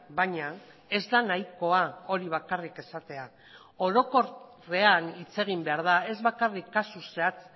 baina ez da nahikoa hori bakarrik esatea orokorrean hitz egin behar da ez bakarrik kasu zehatz